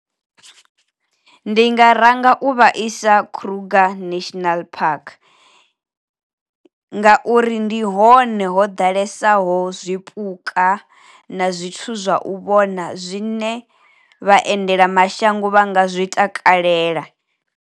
Ndi nga ranga u vha isa kruger national park, nga uri ndi hone ho ḓalesaho zwipuka na zwithu zwa u vhona zwine vhaendelamashango vha nga zwi takalela.